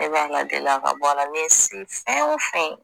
E b'ala a ka bɔala n'e se fɛn o fɛn ye